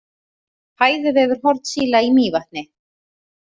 Fæðuvefur hornsíla í Mývatni.